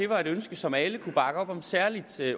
var et ønske som alle kunne bakke op særlig